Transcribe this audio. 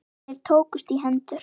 Þeir tókust í hendur.